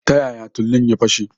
Ta yaya tulun ya fashe?